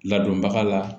Ladonbaga la